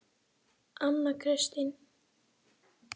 Anna Kristín